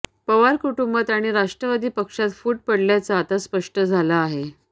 पवार कुटुंबात आणि राष्ट्रवादी पक्षात फूट पडल्याचं आता स्पष्ट झालं आहे